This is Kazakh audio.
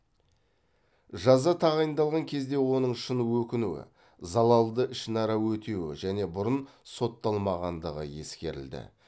жаза тағайындалған кезде оның шын өкінуі залалды ішінара өтеуі және бұрын сотталмағандығы ескерілді